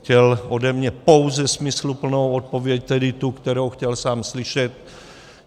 Chtěl ode mě pouze smysluplnou odpověď, tedy tu, kterou chtěl sám slyšet.